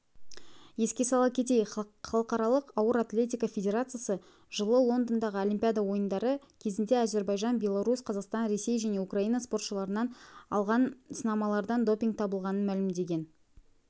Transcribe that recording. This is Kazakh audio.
еске сала кетейік халықаралық ауыр атлетика федерациясы жылы лондондағы олимпиада ойындары кезінде әзербайжан беларусь қазақстан ресей және украина спортшыларынан алынған сынамалардан допинг табылғанын мәлімдеген